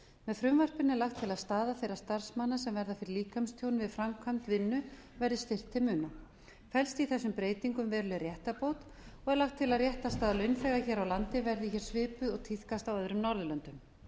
með frumvarpinu er lagt til að staða þeirra starfsmanna sem verða fyrir líkamstjóni við framkvæmd vinnu verði styrkt til muna felst í þessum breytingum veruleg réttarbót og er lagt til að réttarstaða launþega hér á landi verði hér eftir svipuð og tíðkast á öðrum norðurlöndum með